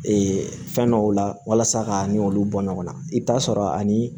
Ee fɛn dɔw la walasa ka ni olu bɔ ɲɔgɔnna i bɛ t'a sɔrɔ ani